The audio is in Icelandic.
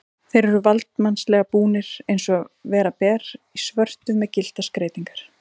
Þeir eru valdsmannslega búnir, eins og vera ber, í svörtu með gylltar skreytingar.